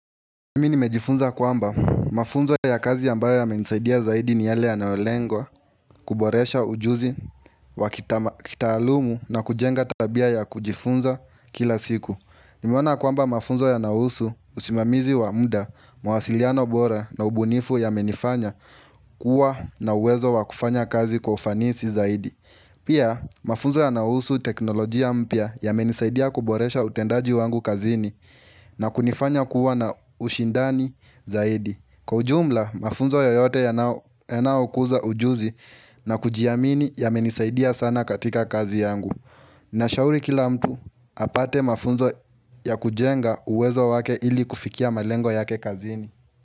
Mimi nimejifunza kwamba mafunzo ya kazi ambayo yamenisaidia zaidi ni yale yanaolengwa kuboresha ujuzi wa kitaalumu na kujenga tabia ya kujifunza kila siku. Nimewana kwamba mafunzo yanaohusu usimamizi wa mda, mawasiliano bora na ubunifu yamenifanya kuwa na uwezo wa kufanya kazi kwa ufanisi zaidi. Pia mafunzo yanaohusu teknolojia mpya yamenisaidia kuboresha utendaji wangu kazini. Na kunifanya kuwa na ushindani zaidi Kwa ujumla, mafunzo yoyote yanao kuza ujuzi na kujiamini yamenisaidia sana katika kazi yangu na shauri kila mtu apate mafunzo ya kujenga uwezo wake ili kufikia malengo yake kazini.